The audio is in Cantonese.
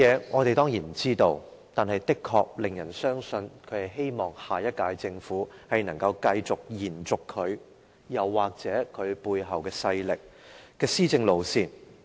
我們當然不知道他的目的，但人們卻不禁懷疑他是希望下屆政府能夠延續他，或其背後勢力的施政路線。